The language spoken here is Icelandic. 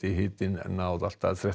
hitinn að ná allt að þrettán